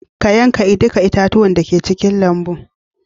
ka yanka duka itatuwa da ke cikin lambu